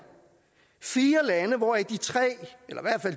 fire lande hvoraf de tre eller